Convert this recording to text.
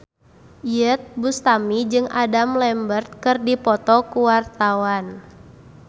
Iyeth Bustami jeung Adam Lambert keur dipoto ku wartawan